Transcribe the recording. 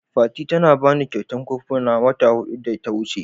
Fati ta bani kyautan kofuna wata huɗu da ta wuce.